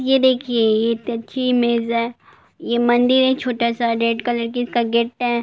यह देखिए यह तिरछी इमेज है| यह मंदिर है छोटा-सा रेड कलर जिसका गेट है|